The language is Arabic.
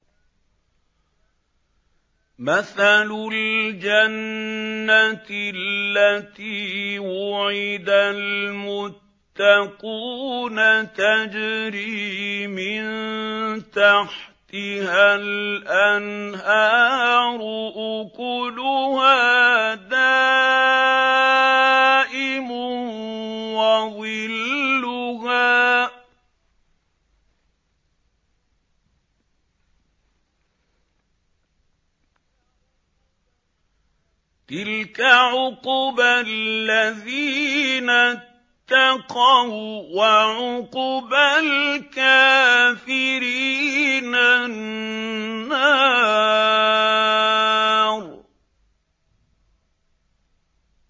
۞ مَّثَلُ الْجَنَّةِ الَّتِي وُعِدَ الْمُتَّقُونَ ۖ تَجْرِي مِن تَحْتِهَا الْأَنْهَارُ ۖ أُكُلُهَا دَائِمٌ وَظِلُّهَا ۚ تِلْكَ عُقْبَى الَّذِينَ اتَّقَوا ۖ وَّعُقْبَى الْكَافِرِينَ النَّارُ